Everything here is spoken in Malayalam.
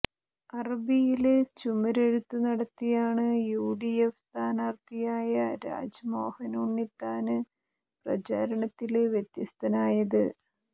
അറബിയില് ചുമരെഴുത്ത് നടത്തിയാണ് യുഡിഎഫ് സ്ഥാനാര്ത്ഥിയായ രാജ്മോഹന് ഉണ്ണിത്താന് പ്രചാരണത്തില് വ്യത്യസ്തനായത്